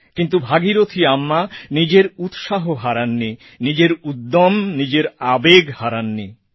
কিন্তু ভাগীরথী আম্মা নিজের উৎসাহ হারাননি নিজের উদ্যম ও আবেগ হারাননি